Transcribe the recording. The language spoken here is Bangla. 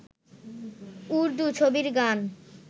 উর্দুু ছবির গান